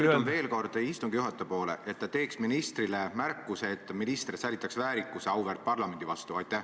Ma pöördun veel kord istungi juhataja poole, et ta teeks ministrile märkuse, et minister säilitaks väärikuse auväärt parlamendi suhtes.